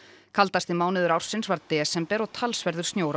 kaldasti mánuður ársins var desember og talsverður snjór á